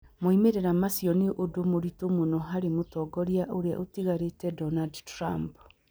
Moimĩrĩro macio nĩ ũndũ mũritũ mũno harĩ Mũtongoria ũrĩa ũtigarĩte Donald Trump.